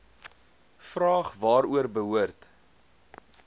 vraag waaroor behoort